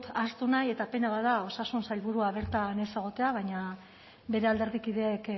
ahaztu nahi eta pena bat da osasun sailburua bertan ez egotea baina bere alderdikideek